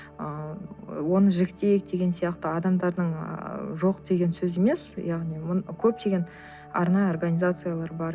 ыыы оны жіктейік деген сияқты адамдардың ы жоқ деген сөзі емес яғни көптеген арнайы организациялар бар